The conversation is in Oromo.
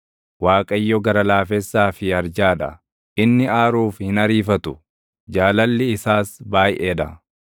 Waaqayyo gara laafessaa fi arjaa dha; inni aaruuf hin ariifatu; jaalalli isaas baayʼee dha.